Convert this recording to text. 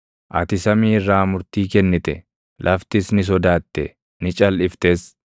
Ati samii irraa murtii kennite; laftis ni sodaatte; ni calʼiftes;